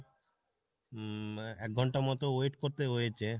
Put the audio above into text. উম একঘন্টা মতো wait করতে হয়েছে।